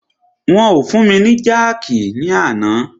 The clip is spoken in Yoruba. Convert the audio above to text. Wọn o fún mi ni jákìí ní àná.